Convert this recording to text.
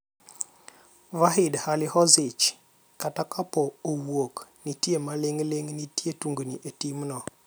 Vahid Halilhodzic, kata kapo owuok, nitie maling'ling' nitie tungni e timno.